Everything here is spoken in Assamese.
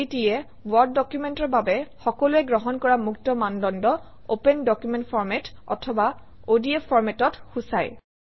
ODT এ ৱৰ্ড ডকুমেণ্টৰ বাবে সকলোৱে গ্ৰহণ কৰা মুক্ত মানদণ্ড অপেন ডকুমেণ্ট ফৰমাত অথবা অডিএফ format অক সূচায়